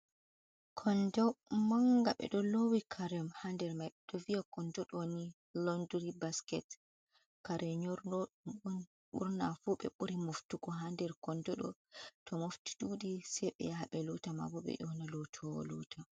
konndo mannga, ɓe ɗo loowi kare haa nder mai, ɓe do vi'a kondo ɗo'o nii londiri basket, kare nyorooɗum on ɓurna fuu ɓe ɓuri moftugo ha nder konndo ɗo'o, to mofti ɗuuɗi sei ɓe yaha ɓe loota maabo ɓe ƴoona lootoowo loota.